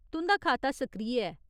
तुं'दा खाता सक्रिय ऐ।